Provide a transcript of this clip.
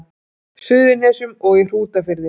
Suðurnesjum og í Hrútafirði.